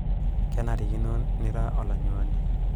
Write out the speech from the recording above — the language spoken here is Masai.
kenarikino nira olanyuani